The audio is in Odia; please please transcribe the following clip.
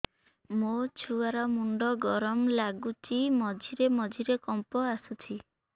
ମୋ ଛୁଆ ର ମୁଣ୍ଡ ଗରମ ଲାଗୁଚି ମଝିରେ ମଝିରେ କମ୍ପ ଆସୁଛି